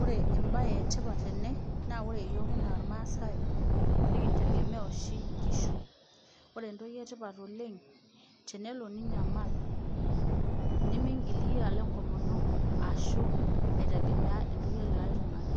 Ore embae etipata tene naa ore iyiook enaa ilmaasai, nikindegemea oshi inkishu ore entoki etipata oleng', telo ninyamal nimiigil iyie alo enkomono aashu aitegemea entoki elekai tungani.